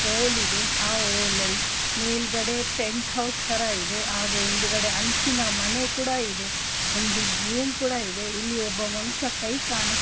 ಒಲ್ ಆ ಹೋ ಲಲ್ ಮೇಲ್ಗಡೆ ಟೆಂಟ್ ಹೌಸ್ ತರಾ ಇದೆ ಆಗ ಹಿಂಡ್ಗದೆ ಹಂಚಿನ ಮನೇಕುಡ ಇದೆ ಒಂದು ಬೂಮ್ ಕೂಡಾ ಇದೆ ಇಲ್ಲಿ ಒಬ್ಬ ಮನುಷ್ಯ ಕೈಕೂಡಾ ಕಾಣು --